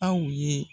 Aw ye